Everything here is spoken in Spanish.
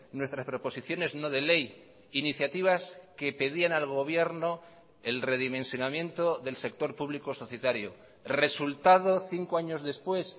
nuestras proposiciones no de ley iniciativas que pedían al gobierno el redimensionamiento del sector público societario resultado cinco años después